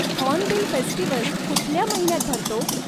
Hornbill festival कुठल्या महिन्यात भरतो?